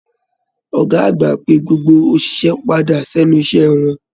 Ọgá àgbà pé gbogbo oṣiṣẹ padà s'ẹnu iṣẹ wọn.